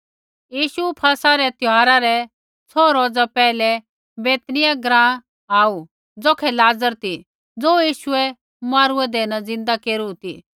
यीशु फसह रै त्यौहारा रै छौ रोज पैहलै बैतनिय्याह ग्राँ आऊ ज़ौखै लाज़र ती ज़ो यीशुऐ मौरू हौन्दे न ज़िन्दा केरू ती